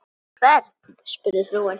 Hvern? spurði frúin.